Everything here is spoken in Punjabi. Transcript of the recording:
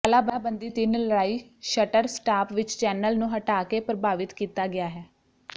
ਤਾਲਾਬੰਦੀ ਤਿੰਨ ਲੜਾਈ ਸ਼ਟਰ ਸਟਾਪ ਵਿੱਚ ਚੈਨਲ ਨੂੰ ਹਟਾ ਕੇ ਪ੍ਰਭਾਵਿਤ ਕੀਤਾ ਗਿਆ ਹੈ